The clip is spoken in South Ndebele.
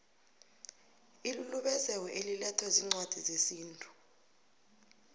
ilulubezeko elilethwa ziincwadi zesintu